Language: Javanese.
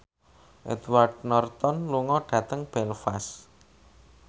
Edward Norton lunga dhateng Belfast